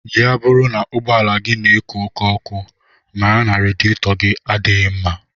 Ya bụrụ na ụgbọala gị na-eku oké ọkụ, mara na radiyetọgi adịghị mma